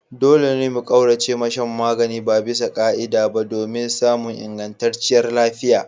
Dole mu kauracewa shan magani babisa ka'ida ba domin samun ingantacciyar lafiya.